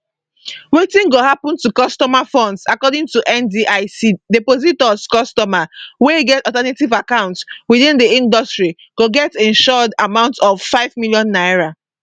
wetin go happun to customer funds according to ndic depositors customers wey get alternate account within di industry go get insured amount of n5 million